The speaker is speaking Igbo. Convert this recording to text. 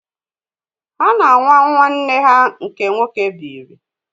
Há na nwa nwanne ha nke nwoke bíírì